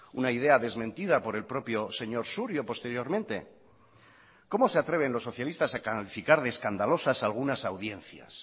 una idea desmentida por el propio señor surio posteriormente cómo se atreven los socialistas a calificar de escandalosas algunas audiencias